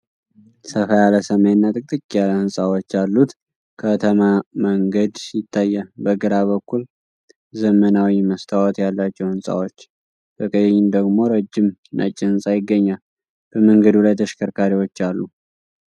ሰፋ ያለ ሰማይና ጥቅጥቅ ያለ ህንጻዎች ያሉት ከተማ መንገድ ይታያል። በግራ በኩል ዘመናዊ መስታወት ያላቸው ሕንጻዎች፣ በቀኝ ደግሞ ረጅም ነጭ ሕንጻ ይገኛል፤ በመንገዱ ላይ ተሽከርካሪዎች አሉ።